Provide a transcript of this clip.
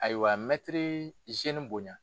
Ayiwa mɛtiri bonya.